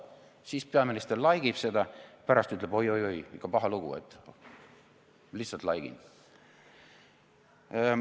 Siis peaminister laigib seda, aga pärast ütleb oi-oi-oi, ikka paha lugu, aga lihtsalt laigin.